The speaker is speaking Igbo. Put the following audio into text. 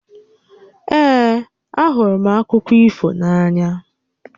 Ee, a hụrụ m akụkọ ifo na-ànyà